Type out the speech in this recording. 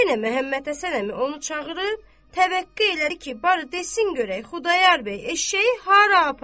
Yenə Məhəmməd Həsən əmi onu çağırıb təvəqqə elədi ki, barı desin görək Xudayar bəy eşşəyi hara aparıb?